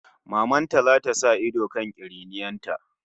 Maman ta zata sa ido kan kiriniyar ta